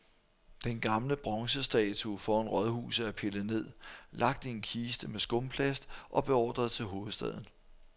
Den gamle bronzestatue foran rådhuset er pillet ned, lagt i en kiste med skumplast og befordret til hovedstaden.